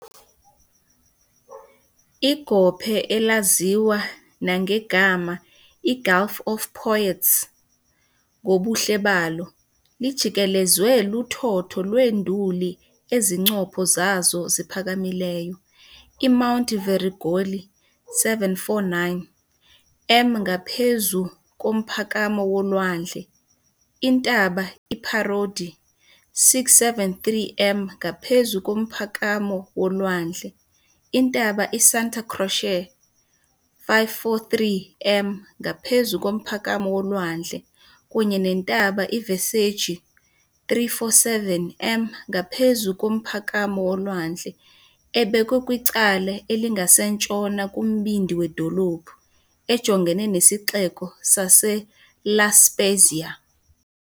Igophe, elaziwa nangegama "iGulf of Poets" ngobuhle balo, lijikelezwe luthotho lweenduli ezincopho zazo ziphakamileyo, iMount Verrugoli, 749 m ngaphezu komphakamo wolwandle, iNtaba iParodi, 673 m ngaphezu komphakamo wolwandle, iNtaba iSanta Croce, 543 m ngaphezu komphakamo wolwandle, kunye neNtaba iViseggi 347m ngaphezu komphakamo wolwandle , ebekwe kwicala elingasentshona kumbindi wedolophu, ejongene nesixeko saseLa Spezia.